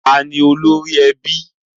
Taa ni olórí i ilé?